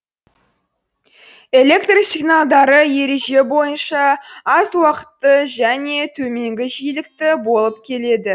электр сигналдары ереже бойынша аз уақытгы және төменгі жиілікті болып келеді